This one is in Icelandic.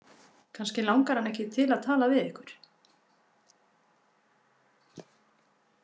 Kannski langar hana ekki til að tala við ykkur.